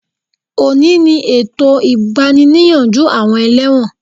Òní ni ètò ìgbani-níyànjú àwọn ẹlẹ́wọ̀n